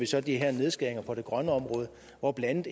ser de her nedskæringer på det grønne område hvor blandt